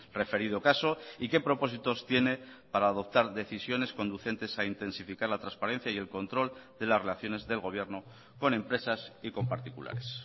referido caso y qué propósitos tiene para adoptar decisiones conducentes a intensificar la transparencia y el control de las relaciones del gobierno con empresas y con particulares